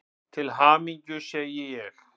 Til hamingju, segi ég.